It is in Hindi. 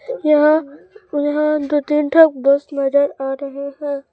यहां यहां दो तीन ठो बस नजर आ रहे हैं।